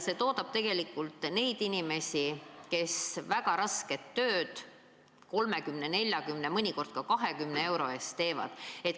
See toodab tegelikult neid inimesi, kes teevad väga rasket tööd 30, 40, mõnikord ka 20 euro eest.